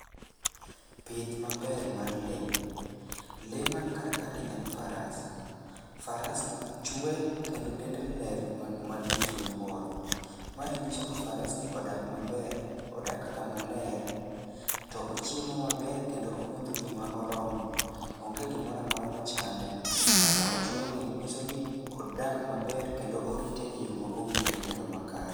Pith maber mar lee. Lee man karkani en faras. Farasni chwe kendo dende ler malich miwuoro. Mae nyiso ni farasni odak maber, odak kama ler, to ochiemo maber kendo omodho pi ma oromo. Onge gimora mora ma chande. Kaka ochweni nyiso ni odak maber kendo orite e yo ma owinjore kendo makare.